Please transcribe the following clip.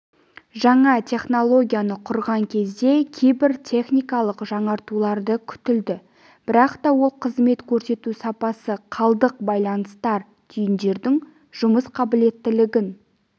жаңа технологияны құрған кезде кейбір техникалық жаңартуларды күтіледі бірақ та ол қызмет көрсету сапасы қалдық байланыстар түйіндердің жұмыс қабілеттілігін